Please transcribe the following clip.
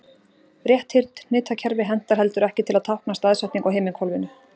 Rétthyrnt hnitakerfi hentar heldur ekki til að tákna staðsetningu á himinhvolfinu.